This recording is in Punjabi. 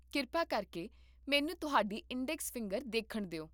ਕਿਰਪਾ ਕਰਕੇ ਮੈਨੂੰ ਤੁਹਾਡੀ ਇੰਡੈਕਸ ਫਿੰਗਰ ਦੇਖਣ ਦੇ